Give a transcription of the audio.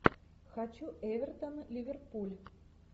хочу эвертон ливерпуль